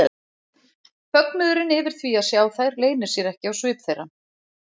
Fögnuðurinn yfir því að sjá þær leynir sér ekki á svip þeirra.